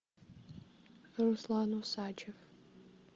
руслан усачев